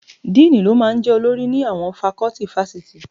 Díìnì ló máa ń jẹ́ olórí ni àwọn fakọ́tì fásitì